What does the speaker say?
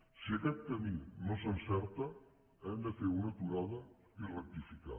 si aquest camí no s’encerta hem de fer una aturada i rectificar